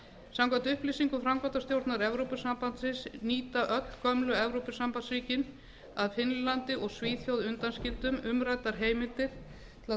samkvæmt upplýsingum framkvæmdastjórnar evrópusambandsins nýta öll gömlu evrópusambandsríkin að finnlandi og svíþjóð undanskildum umræddar heimildir til að